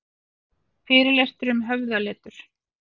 Fyrirlestur um höfðaletur